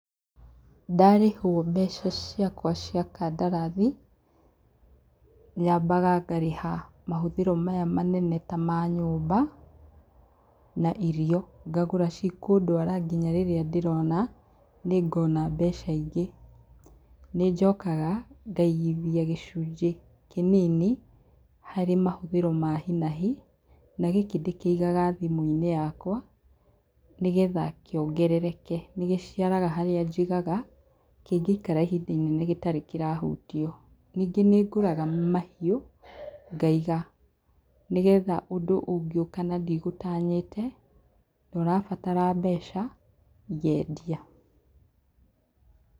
Ndarĩhwo mbeca ciakwa cia kandarathi, nyambaga ngarĩha mahũthĩro maya manene ta ma nyũmba, na irio ngagũra cikũndwara nginya rĩrĩa ndĩrona, nĩngona mbeca ingĩ. Nĩ njokaga ngaigithia gicunjĩ kĩnini harĩ mahũthĩro ma hi na hi, na gĩkĩ ndĩkĩigaga thimũ-inĩ yakwa, nĩgetha kĩongerereke. Nĩ gĩciaraga harĩa njigaga, kĩngĩikara ihinda inene gĩtarĩ kĩrahutio. Ningĩ nĩ ngũraga mahiũ, ngaiga nĩgetha ũndũ ũngĩũka na ndigũtanyĩte, na ũrabatara mbeca, ngeendia.